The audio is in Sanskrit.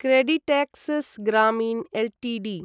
क्रेडिटेक्सेस् ग्रामीण् एल्टीडी